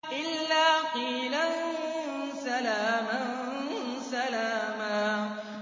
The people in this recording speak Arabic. إِلَّا قِيلًا سَلَامًا سَلَامًا